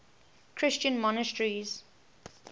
christian monasteries